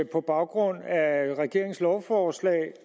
på baggrund af regeringens lovforslag